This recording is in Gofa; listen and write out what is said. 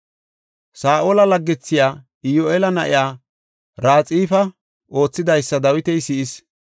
Saa7ola laggethiya, Iyoheela na7iya Raxifa oothidaysa Dawiti si7is.